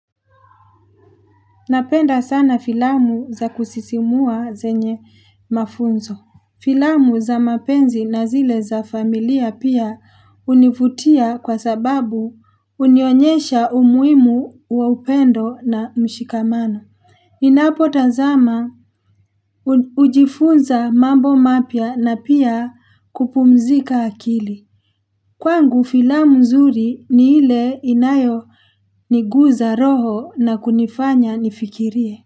Napenda sana filamu za kusisimua zenye mafunzo. Filamu za mapenzi na zile za familia pia hunivutia kwa sababu hunionyesha umuhimu wa upendo na mshikamano. Ninapotazama hujifunza mambo mapya na pia kupumzika akili. Kwangu filamu nzuri ni ile inayo niguza roho na kunifanya nifikirie.